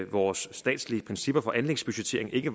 vores statslige principper for anlægsbudgettering ikke